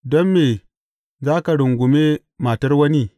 Don me za ka rungume matar wani?